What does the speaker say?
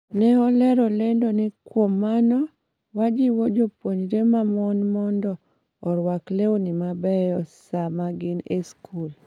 ne olero lendo ni ''Kuom mano, wajiwo jopuonjre ma mon mondo orwak lewni mabeyo sama gin e skul.